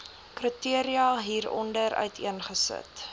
kriteria hieronder uiteengesit